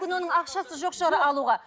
оның ақшасы жоқ шығар алуға